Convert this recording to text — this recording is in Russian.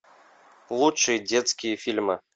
лучшие детские фильмы